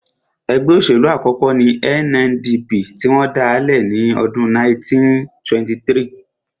Ẹgbẹ́ òṣèlú àkọ́kọ́ ní NNDP tí wọ́n dálẹ̀ ní ọdún 1923